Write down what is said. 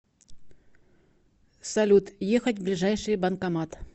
салют ехать в ближайший банкомат